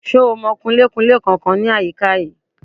Ṣo mọ Kunlé-kunlé kankan ní àyíká yìí?